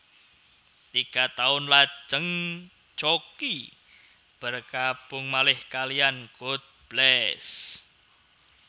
Tiga taun lajeng Jockie bergabung malih kaliyan God Bless